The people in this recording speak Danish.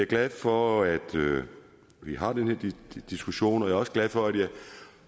glad for at vi har den her diskussion og jeg er også glad for at